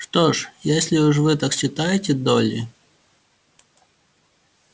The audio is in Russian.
что ж если уж вы так считаете долли